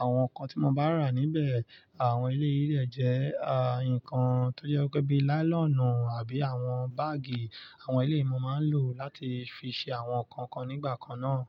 àwọn nǹkan tí mo bá rà níbẹ̀, àwọn eléyì dẹ̀ jẹ́ à nǹkan tó jẹ́ pé bí i láílọ̀nù àbí àwọn báàgì nǹkan wọ̀nyí ni mo máa ń lò láti fi ṣe àwọn nǹkan nǹkan nigbakana.